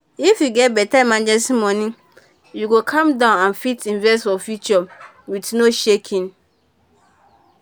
if you get better emergency money you go calm down and fit invest for future with no shaking.